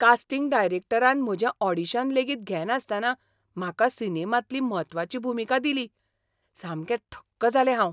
Casting डायरेक्टरान म्हजें audition लेगीत घेनासतना म्हाका सिनेमांतली म्हत्वाची भुमिका दिली. सामकें थक्क जालें हांव.